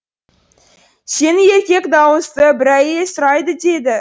сені еркек дауысты бір әйел сұрайды дейді